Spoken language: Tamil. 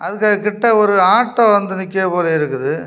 அங்க கிட்ட ஒரு ஆட்டோ வந்து நிக்கிற போல இருக்குது.